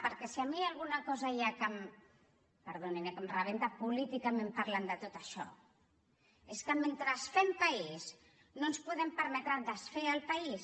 perquè si a mi alguna cosa hi ha perdonin eh que em rebenta políticament parlant de tot això és que mentre fem país no ens podem permetre desfer el país